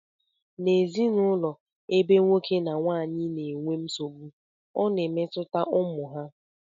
N' ezinụlọ ebe nwoke na nwaanyị na-enwe nsogbu ọ na-emetụta ụmụ ha